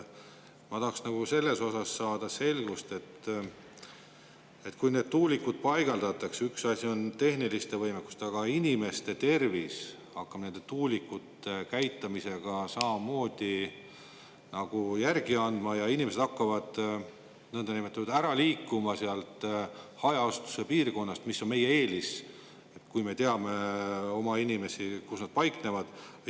Ma tahaksin saada selgust selles, et kui need tuulikud paigaldatakse, siis üks asi on tehniline võimekus, aga inimeste tervis hakkab nende tuulikute käitamise tõttu samamoodi järele andma ja inimesed hakkavad ära liikuma sealt hajaasustuse piirkonnast, kuigi see on olnud meie eelis, sest me oleme teadnud, kus meie inimesed paiknevad.